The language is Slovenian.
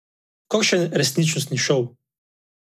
Kakšen resničnostni šov!